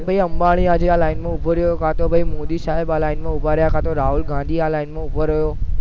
અંબાણી આ આજે આ લાઈન માં ઉભો રહ્યો કાતો મોદી સાહેબ આ લાઈન ઉભા રહ્યા કાતો રાહુલ ગાંધી આ લાઈન માં ઉભો રહ્યો